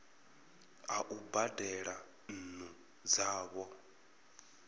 a u badela nnu dzavho